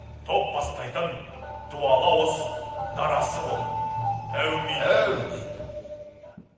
топ бастайтын дуалы ауыз дарасы бол әумин әумин